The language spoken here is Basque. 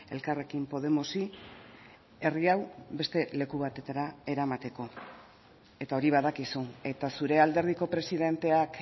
elkarrekin podemosi herri hau beste leku batetara eramateko eta hori badakizu eta zure alderdiko presidenteak